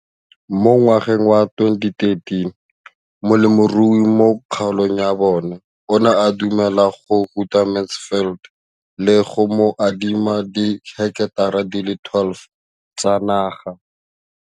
Ka ngwaga wa 2013, molemirui mo kgaolong ya bona o ne a dumela go ruta Mansfield le go mo adima di heketara di le 12 tsa naga.